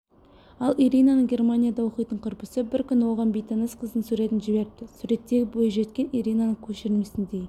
ал ираның германияда оқитын құрбысы бір күні оған бейтаныс қыздың суретін жіберіпті суреттегі бойжеткен ираның көшірмесіндей